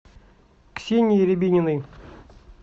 ксении рябининой